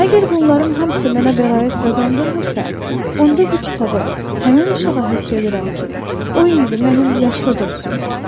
Əgər bunların hamısı mənə bəraət qazandırmırsa, onda bu kitabı həmin uşağa həsr edirəm ki, o indi mənim yaşlı dostumdur.